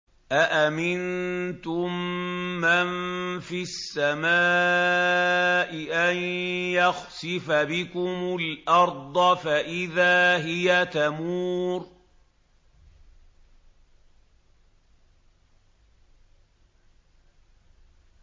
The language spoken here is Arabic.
أَأَمِنتُم مَّن فِي السَّمَاءِ أَن يَخْسِفَ بِكُمُ الْأَرْضَ فَإِذَا هِيَ تَمُورُ